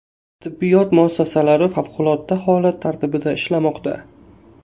Tibbiyot muassasalari favqulodda holat tartibida ishlamoqda.